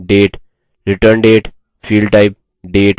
return date field type date